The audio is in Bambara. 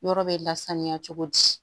Yɔrɔ bɛ lasaniya cogo di